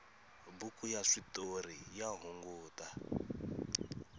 buku ya switoriya hungata